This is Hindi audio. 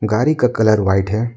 गाड़ी का कलर व्हाइट है।